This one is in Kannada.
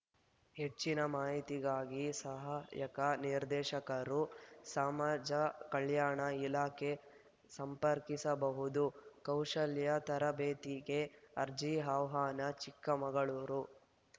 ಹೆಚ್ಚಿನ ಮಾಹಿತಿಗಾಗಿ ಸಹಾಯಕ ನಿರ್ದೇಶಕರು ಸಮಾಜ ಕಲ್ಯಾಣ ಇಲಾಖೆ ಸಂಪರ್ಕಿಸಬಹುದು ಕೌಶಲ್ಯ ತರಬೇತಿಗೆ ಅರ್ಜಿ ಆಹ್ವಾನ ಚಿಕ್ಕಮಗಳೂರು